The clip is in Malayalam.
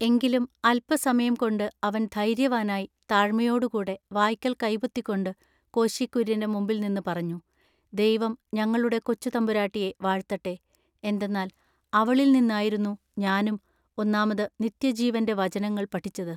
എങ്കിലും അല്പസമയം കൊണ്ട് അവൻ ധൈര്യവാനായി താഴ്മയോടു കൂടെ വായ്ക്കൽ കൈപൊത്തിക്കൊണ്ടു കോശി കുര്യൻ്റെ മുമ്പിൽനിന്നു പറഞ്ഞു ദൈവം ഞങ്ങളുടെ കൊച്ചു തമ്പുരാട്ടിയെ വാഴ്ത്തട്ടെ എന്തെന്നാൽ അവളിൽനിന്നായിരുന്നു ഞാനും ഒന്നാമതു നിത്യജീവന്റെ വചനങ്ങൾ പഠിച്ചതു.